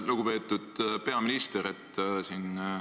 Lugupeetud peaminister!